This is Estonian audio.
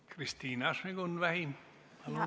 Kristina Šmigun-Vähi, palun!